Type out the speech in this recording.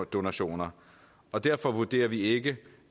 donationer og derfor vurderer vi ikke